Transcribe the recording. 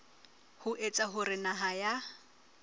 ho etsa hore naha ya